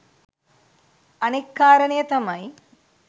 අනෙත් කාරණය තමයි